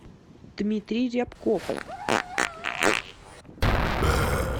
дмитрий рябков